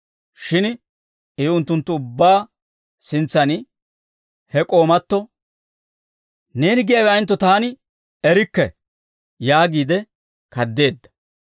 Shin I unttunttu ubbaa sintsaan he k'oomato, «Neeni giyaawe ayentto taani erikke» yaagiide kaadeedda.